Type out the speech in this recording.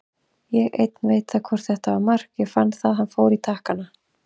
Ég einn veit það hvort þetta var mark, ég fann að hann fór í takkana.